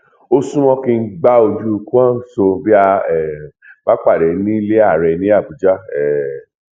ó súnmọ kí n gba ojú kwanso bí a um bá pàdé nílẹ ààrẹ ní àbújá um